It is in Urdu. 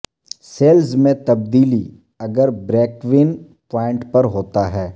سیلز میں تبدیلی اگر بریکیوین پوائنٹ پر ہوتا ہے